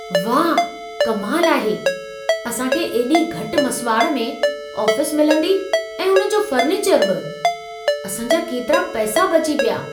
वाह! कमाल आहे। असां खे एॾी घटि मसुवाड़ में आफ़िस मिलंदी ऐं उन जो फर्नीचर बि! असां जा केतिरा पैसा बची पिया।